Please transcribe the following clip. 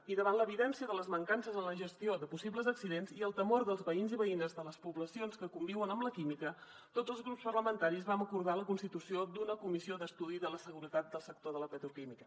i davant l’evidència de les mancances en la gestió de possibles accidents i el temor dels veïns i veïnes de les poblacions que conviuen amb la química tots els grups parlamentaris vam acordar la constitució de la comissió d’estudi de la seguretat del sector de la petroquímica